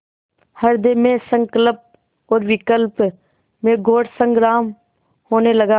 हृदय में संकल्प और विकल्प में घोर संग्राम होने लगा